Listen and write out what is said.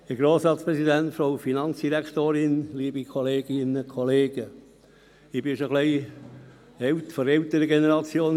Ich gehöre zur älteren Generation in diesem Saal und bin schon länger im Grossen Rat.